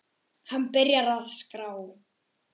Hann byrjar að skrá.